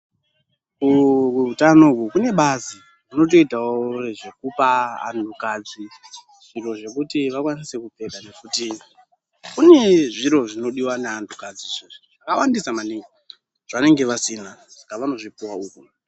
Kuhutano uku kune bazi rinotoitawo zvekupa anhukadzi zviro zvekuti vakwanise kugeza nekuti kune zviro zvinodiwa neantukadzi zvakawandisa maningi zvavanenge vasina saka vanozvipuwa uku.